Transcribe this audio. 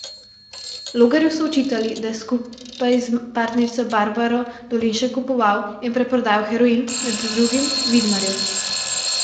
Logarju so očitali, da je skupaj s partnerico Barbaro Dolinšek kupoval in preprodajal heroin, med drugim Vidmarju.